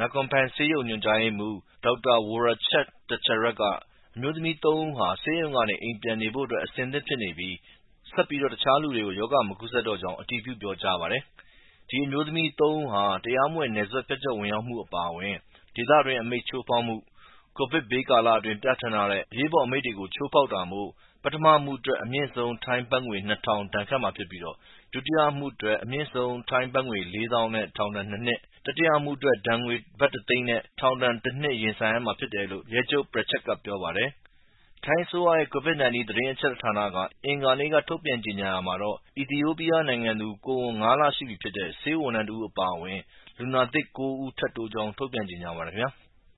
Nakornping ဆေးရုံညွှန်ကြားရေးမှုး Dr Worachet Techarak က အမျိုးသမီးသုံးဦးဟာ ဆေးရုံကနေ အိမ်ပြန်နေဖို့အဆင်သင့်ဖြစ်နေပြီး ဆက်ပြီး တခြားလူကို ရောဂါမကူးစပ်တော့ကြောင်း အတည်ပြုပြောကြားပါတယ်။ ဒီအမျိုးသမီးသုံးဦးဟာ တရာမဝင်နယ်စပ်ဖြတ်ကျော်ဝင်ရောက်မှုအပါအဝင်၊ ဒေသတွင်း အမိန့်ချိုးဖောက်မှု၊ ကိုဗစ်ကပ်ဘေးကာလအတွင်းပြဌာန်းထားတဲ့ အရေးပေါ်အမိန့်ကို ချိုးဖောက်တာမို့ပထမအမှုအတွက် အမြင့်ဆုံး ထိုင်းဘက်ငွေ ၂၀၀၀ ဒဏ်ခတ်မှာဖြစ်ပြီး ဒုတိယအမှုအတွက် အမြင့်ဆုံးထိုင်းဘက်ငွေ လေးသောင်းနဲ့ထောင်ဒဏ် ၂ နှစ်။ တတိယအမှုအတွက် ဒဏ်ငွေ ဘတ် တသိန်းနဲ့ ထောင်ဒဏ် တနှစ် ရင်ဆိုင်ရမှာဖြစ်တယ်လို့ ရဲဗိုလ်ချုပ် Prachuap ကပြောပါတယ်။ ထိုင်းအစိုးရရဲ့ Covid-19 သတင်းအချက်အလက်ဌာနက အင်္ဂါနေ့က ထုတ်ပြန်ကြေညာရာမှာတော့ အီသီယိုပီးယားနိုင်ငံသူ ကိုဝန်ငါးလရှိပြီဖြစ်တဲ့ ဆေးဝန်ထမ်းတဦးအပါအဝင် လူနာသစ် ၉ ဦးတိုးကြောင်း ထုတ်ပြန်ကြေညာပါတယ်ခင်ဗျာ။